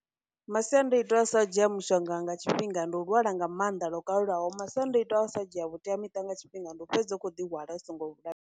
Masiandoitwa a u sa dzhia mushonga nga tshifhinga ndi u lwala nga maanḓa lwo kalulaho, masiandoitwa a u sa dzhia vhuteamiṱa nga tshifhinga ndi u fhedza u khou ḓi hwala u songo .